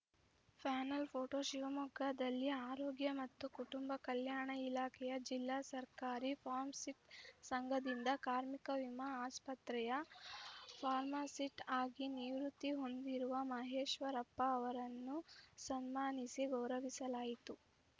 panel photo ಶಿವಮೊಗ್ಗದಲ್ಲಿ ಆರೋಗ್ಯ ಮತ್ತು ಕುಟುಂಬ ಕಲ್ಯಾಣ ಇಲಾಖೆಯ ಜಿಲ್ಲಾ ಸರ್ಕಾರಿ ಫಾರ್ಮಸಿಟ್ ಸಂಘದಿಂದ ಕಾರ್ಮಿಕ ವಿಮಾ ಆಸ್ಪತ್ರೆಯ ಫಾರ್ಮಸಿಸ್ಟ್‌ ಆಗಿ ನಿವೃತ್ತಿ ಹೊಂದಿರುವ ಮಹೇಶ್ವರಪ್ಪ ಅವರನ್ನು ಸನ್ಮಾನಿಸಿ ಗೌರವಿಸಲಾಯಿತು